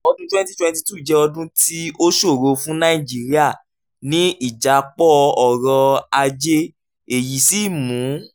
ọdún twenty twenty two jẹ́ ọdún tí ó ṣòro fún nàìjíríà ní ìjápọ̀ ọrọ̀ ajé èyí sì mú